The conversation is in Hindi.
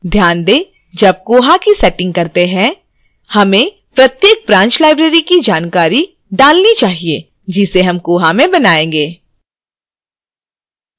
ध्यान weजब koha की setting करते हैं हमें प्रत्येक branch library की जानकारी डालनी चाहिए जिसे हम koha में बनायेंगे